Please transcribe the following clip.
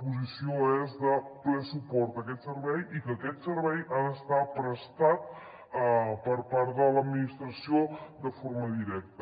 posició és de ple suport a aquest servei i que aquest servei ha d’estar prestat per part de l’administració de forma directa